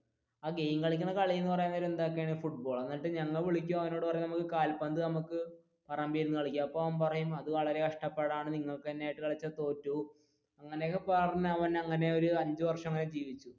game കളിക്കണ കളി എന്ന് പറയാൻ നേരം ഫുട്ബോൾ എന്നിട്ട് ഞങ്ങ വിളിക്കും അവനോട് പറയും കാൽപന്ത് നമുക്ക് പറമ്പിൽ നിന്ന് കളിക്കാം അപ്പൊ അവൻ പറയും വളരെ കഷ്ടപാടാണ് നിങ്ങളായിട്ട് കളിച്ച തോറ്റു പോവും